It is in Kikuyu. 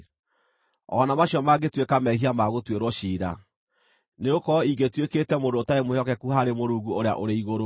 o na macio mangĩtuĩka mehia ma gũtuĩrwo ciira, nĩgũkorwo ingĩtuĩkĩte mũndũ ũtarĩ mwĩhokeku harĩ Mũrungu ũrĩa ũrĩ igũrũ.